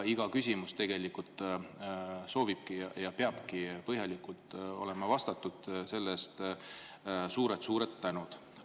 Iga küsimus peabki põhjalikult vastatud ja selle eest suured tänud.